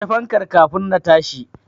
Kashe fankar kafin na tashi.